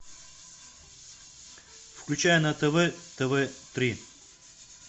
включай на тв тв три